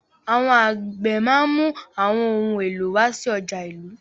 Àwọn àgbẹ̀ máa ń mú àwọn ohun èlò wá sí ọjà ìlú.